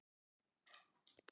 Honum finnst hún falleg.